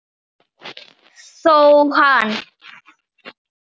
Þó hann